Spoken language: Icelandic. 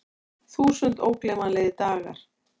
Þúsund ógleymanlegir dagar.